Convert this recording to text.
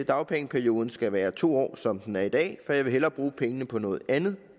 dagpengeperioden skal være to år som den er i dag for jeg vil hellere bruge pengene på noget andet